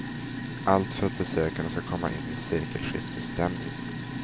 Allt för att besökarna ska komma in i sekelskiftesstämning.